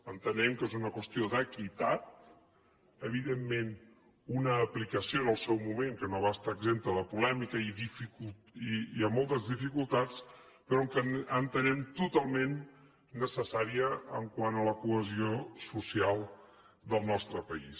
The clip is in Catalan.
entenem que és una qüestió d’equitat evidentment una aplicació en el seu moment que no va estar exempta de polèmica i de moltes dificultats però que entenem totalment necessària quant a la cohesió social del nostre país